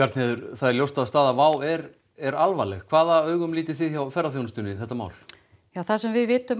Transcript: það er ljóst að staða WOW er er alvarleg hvaða augum lítið þið hjá ferðaþjónustunni þetta mál það sem við vitum